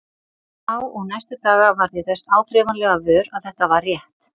Þá og næstu daga varð ég þess áþreifanlega vör að þetta var rétt.